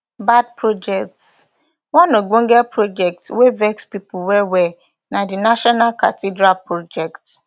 bad projectsone ogbonge project wey vex pipo well well na di national cathedral project